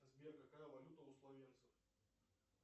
сбер какая валюта у словенцев